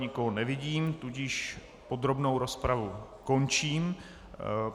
Nikoho nevidím, tudíž podrobnou rozpravu končím.